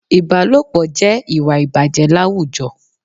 Ìbálòpọ̀ jẹ́ ìwà ìbàjẹ́ láwùjọ